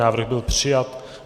Návrh byl přijat.